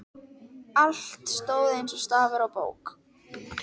Allt stóð eins og stafur á bók.